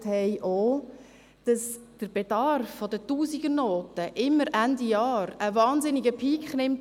Sie zeigt, dass der Bedarf an Tausendernoten Ende Jahr immer einen wahnsinnigen Peak aufweist.